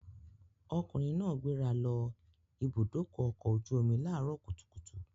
Ọkùnrin náà gbéra lọ Ibùdó-ọkọ̀ ojú-omi láàárọ̀ kùtùkùtù.